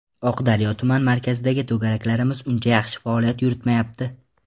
Oqdaryo tuman markazidagi to‘garaklarimiz uncha yaxshi faoliyat yuritmayapti.